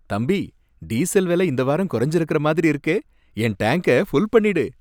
தம்பி ! டீசல் விலை இந்த வாரம் குறைஞ்சிருக்குற மாதிரி இருக்கே. என் டாங்க ஃபுல் பண்ணிடு.